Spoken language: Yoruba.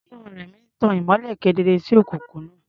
Iná Rẹ̀mí tan ìmọ́lẹ̀ kedere sí òkùnkùn náà.